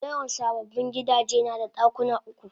Dayawan sababbin gidaje nada dakuna uku